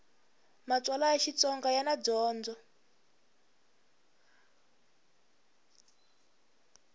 matsalwa ya xitsonga yana dyondzo